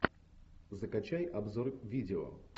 закачай обзор видео